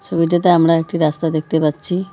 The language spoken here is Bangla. ছবিটাতে আমরা একটি রাস্তা দেখতে পাচ্ছি।